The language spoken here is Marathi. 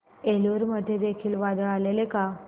एलुरू मध्ये देखील वादळ आलेले का